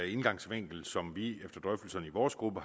indgangsvinkel som vi efter drøftelserne i vores gruppe